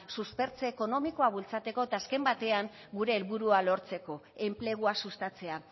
suspertze ekonomikoa bultzatzeko eta azken batean gure helburua lortzeko enplegua sustatzea